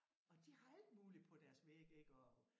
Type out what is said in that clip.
Og de har alt muligt på deres væg ik og